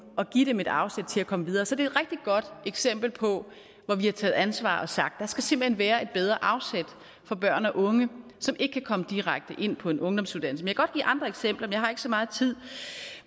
og give dem et afsæt til at komme videre så det rigtig godt eksempel på hvor vi har taget ansvar og sagt der skal simpelt hen være et bedre afsæt for børn og unge som ikke kan komme direkte ind på en ungdomsuddannelse jeg kan godt give andre eksempler men jeg har ikke så meget tid